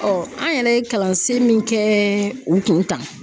an yɛrɛ ye kalansen min kɛɛ u kun tan.